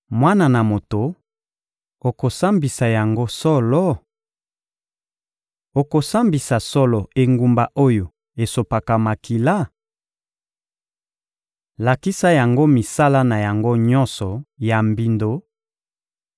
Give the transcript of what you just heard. «Mwana na moto, okosambisa yango solo? Okosambisa solo engumba oyo esopaka makila? Lakisa yango misala na yango nyonso ya mbindo